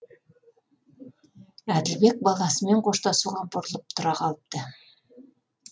әділбек баласымен қоштасуға бұрылып тұра қалыпты